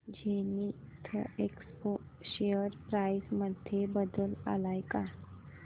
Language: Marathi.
झेनिथएक्सपो शेअर प्राइस मध्ये बदल आलाय का